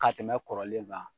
Ka tɛmɛ kɔrɔlen kan.